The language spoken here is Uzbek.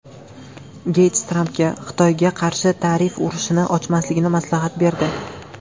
Geyts Trampga Xitoyga qarshi tarif urushini ochmaslikni maslahat berdi.